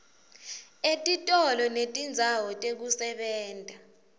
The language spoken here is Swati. etitolo netindzawo tekusebenta